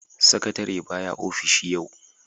Sakatare ba ya ofishi yau.